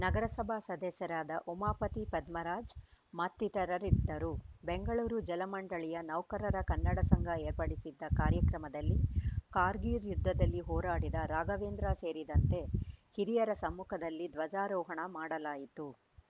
ನಗರಸಭಾ ಸದಸ್ಯರಾದ ಉಮಾವತಿ ಪದ್ಮರಾಜ್‌ ಮತ್ತಿತರರಿದ್ದರು ಬೆಂಗಳೂರು ಜಲ ಮಂಡಳಿಯ ನೌಕರರ ಕನ್ನಡ ಸಂಘ ಏರ್ಪಡಿಸಿದ್ದ ಕಾರ್ಯಕ್ರಮದಲ್ಲಿ ಕಾರ್ಗಿಲ್‌ ಯುದ್ಧದಲ್ಲಿ ಹೋರಾಡಿದ ರಾಘವೇಂದ್ರ ಸೇರಿದಂತೆ ಹಿರಿಯರ ಸಮ್ಮುಖದಲ್ಲಿ ಧ್ವಜಾರೋಹಣ ಮಾಡಲಾಯಿತು